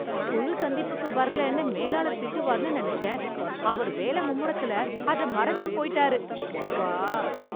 குழு சந்திப்புக்கு வரலேன்னு மேலாளர் திட்டுவார்னு நினச்சேன், அவர் வேலை மும்முரத்துல அத மறந்தே போய்ட்டாரு. ஷப்பா.